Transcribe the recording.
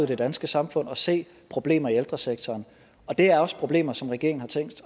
det danske samfund og se problemer i ældresektoren og det er også problemer som regeringen har tænkt